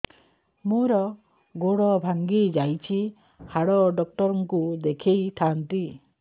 ମୋର ଗୋଡ ଭାଙ୍ଗି ଯାଇଛି ହାଡ ଡକ୍ଟର ଙ୍କୁ ଦେଖେଇ ଥାନ୍ତି